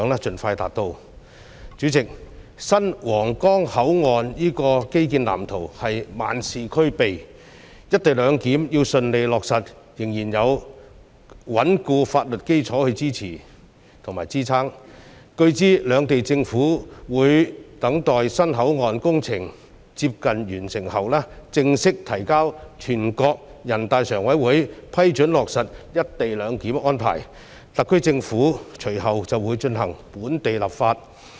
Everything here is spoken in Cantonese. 主席，新皇崗口岸這基建藍圖是萬事俱備，但"一地兩檢"要順利落實，仍然需要有穩固法律基礎支撐，據知兩地政府會等待新口岸工程接近完成後，正式提請全國人大常委會批准新皇崗口岸落實"一地兩檢"安排，特區政府隨後便會進行本地立法。